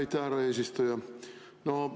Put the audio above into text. Aitäh, härra eesistuja!